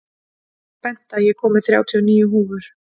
Benta, ég kom með þrjátíu og níu húfur!